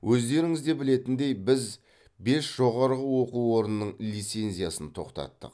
өздеріңізде білетіндей біз бес жоғары оқу орнының лицензиясын тоқтаттық